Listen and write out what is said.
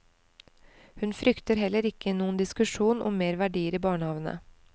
Hun frykter heller ikke noen diskusjon om mer verdier i barnehavene.